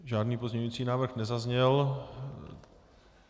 Žádný pozměňovací návrh nezazněl.